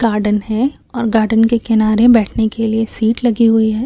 Garden है और garden के किनारे बैठने के लिए सीट लगी हुई है।